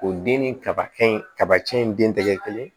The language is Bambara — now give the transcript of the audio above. O den ni kaba kɛ in kaba cɛn in den tɛgɛ kelen